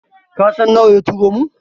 Kasan nawa ya turo mun?